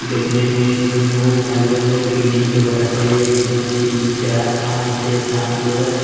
देखने में इसमें बहुत सारे लोग है जो कि गिन के बताते हैं एक दु तीन चार पान छे सात लोग है।